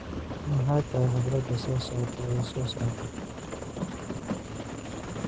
Maxay tahay xafladda soo socota ee soo socota